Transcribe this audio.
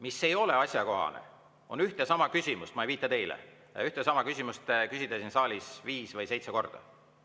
Mis ei ole asjakohane, on ühte ja sama küsimust – ma ei viita teile – küsida siin saalis viis või seitse korda.